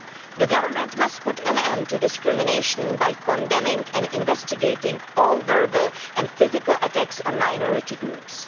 The government must put an end to discrimination by condemning and investigating all verbal and physical attacks on minority groups.